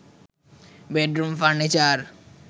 bedroom furniture